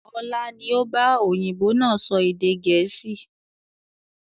Ọlá ni ó ba òyìnbó náà sọ èdè gẹ̀ẹ́sì